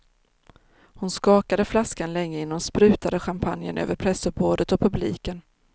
Hon skakade flaskan länge innan hon sprutade champagnen över pressuppbådet och publiken.